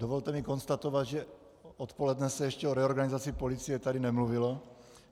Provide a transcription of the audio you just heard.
Dovolte mi konstatovat, že odpoledne se ještě o reorganizaci policie tady nemluvilo.